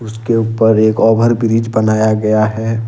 उसके ऊपर एक ओवर ब्रिज बनाया गया है।